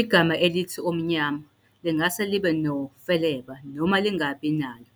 Igama elithi "omnyama" lingase libe nofeleba noma lingabi nalo.